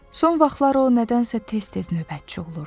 Son vaxtlar o nədənsə tez-tez növbətçi olurdu.